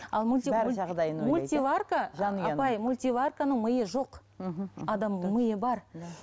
апай мультиварканың миы жоқ адамның миы бар да